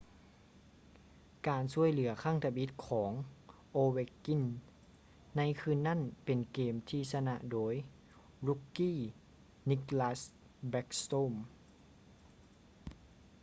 ການຊ່ວຍເຫຼືອຄັ້ງທຳອິດຂອງ ovechkin ໃນຄືນນັ້ນເປັນເກມທີ່ຊະນະໂດຍ rookie nicklas backstrom